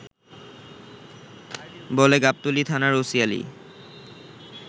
বলে গাবতলী থানার ওসি আলী